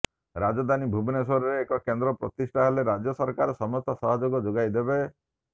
ରାଜଧାନୀ ଭୁବନେଶ୍ୱରରେ ଏହି କେନ୍ଦ୍ର ପ୍ରତିଷ୍ଠା ହେଲେ ରାଜ୍ୟ ସରକାର ସମସ୍ତ ସହଯୋଗ ଯୋଗାଇଦେବେ